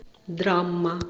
драма